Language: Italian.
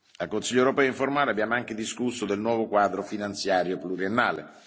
Al Consiglio europeo informale abbiamo anche discusso del nuovo quadro finanziario pluriennale.